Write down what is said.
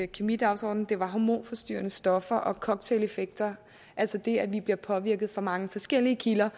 kemidagsordenen det var hormonforstyrrende stoffer og cocktaileffekter altså det at vi bliver påvirket fra mange forskellige kilder